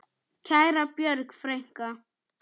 Kæra Björg frænka.